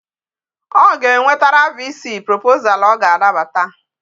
O ga enwetara VC proposal ọ ga-anabata